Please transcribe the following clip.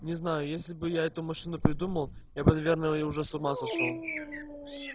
не знаю если бы я эту машину придумал я бы наверное и уже с ума сошёл